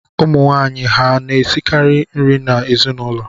Ụmụnwaanyị ha na-esikara nri n’ezinụlọ?